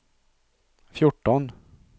fjorton